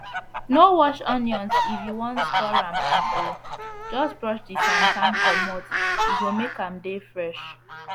no wash onions if u wan store am am o just brush d sand sand comot e go make am dey fresh